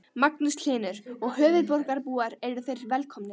Magnús Hlynur: Og höfuðborgarbúar eru þeir velkomnir?